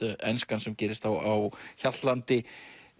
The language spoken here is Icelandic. enskan sem gerist á Hjaltlandi